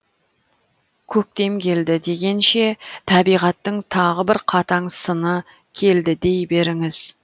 көктем келді дегенше табиғаттың тағы бір қатаң сыны келді дей беріңіз